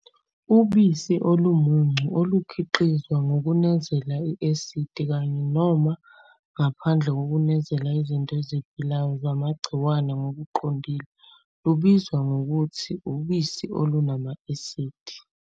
Ubisi olumuncu olukhiqizwa ngokunezela i-asidi, kanye noma ngaphandle kokunezela izinto eziphilayo zamagciwane, ngokuqondile lubizwa ngokuthi ubisi olunama-asidi.